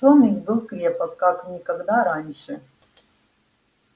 сон их был крепок как никогда раньше